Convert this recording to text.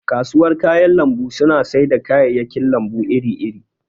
kasuwar kayan lambu suna sai da kayayyakin lambu iri iri